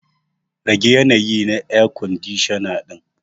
Rage yanayi na air kwandishana din.